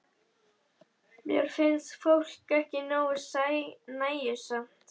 Mér finnst fólk ekki nógu nægjusamt.